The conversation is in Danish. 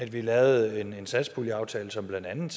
vi lavede en satspuljeaftale som blandt andet